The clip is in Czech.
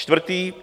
Čtvrtý.